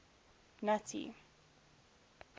nuttie